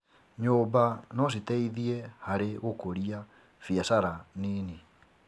Nyũmba no citeithie harĩ gũkũria biacara nini.